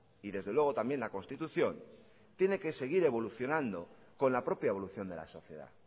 y desde luego también la constitución tiene que seguir evolucionando con la propia evolución de la sociedad